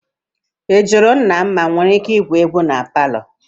Ị jụrụ nna m ma inwere ike igwu egwu na palọ?